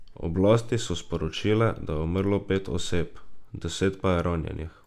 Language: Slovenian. Oblasti so sporočile, da je umrlo pet oseb, deset pa je ranjenih.